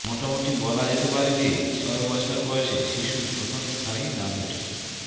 মোটামুটি বলা যেতে পারে যে ছয় বছর বয়সে শিশু প্রথম স্থায়ী দাঁত ওঠে